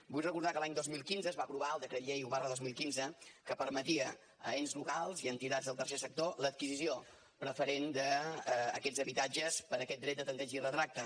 vull recordar que l’any dos mil quinze es va aprovar el decret llei un dos mil quinze que permetia a ens locals i entitats del tercer sector l’adquisició preferent d’aquests habitatges per aquest dret de tempteig i retracte